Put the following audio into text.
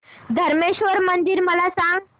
धरमेश्वर मंदिर मला सांग